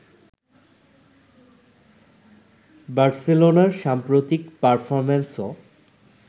বার্সেলোনার সাম্প্রতিক পারফরম্যান্সও